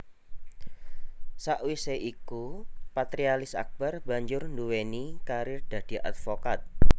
Sakwisé iku Patrialis Akbar banjur nduwéni karir dadi advokat